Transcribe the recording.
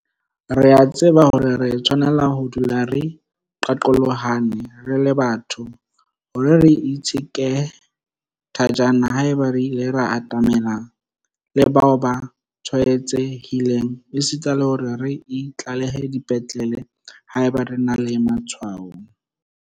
Re a tseba hore re tshwanela ho dula re qaqolohane re le batho, le hore re itsheke thajana haeba re ile ra atamelana le bao ba tshwaetsehileng esita le hore re itlalehe dipetlele haeba re na le matshwao.